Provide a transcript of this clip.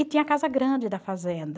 E tinha a casa grande da fazenda.